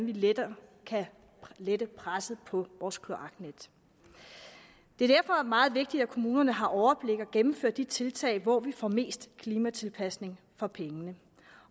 lettere kan lette presset på vores kloaknet det er derfor meget vigtigt at kommunerne har overblik og gennemfører de tiltag hvor vi får mest klimatilpasning for pengene